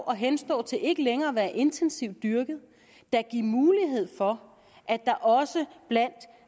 at henstå til ikke længere at være intensivt dyrket da give mulighed for at der også blandt